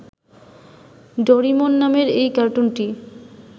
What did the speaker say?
Doraemon নামের এ কার্টুনটি